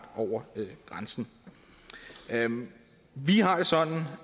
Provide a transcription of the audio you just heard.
over grænsen vi har det sådan